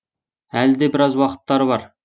әлі де біраз уақыттары бар